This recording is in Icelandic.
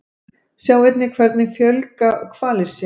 Sjá einnig Hvernig fjölga hvalir sér?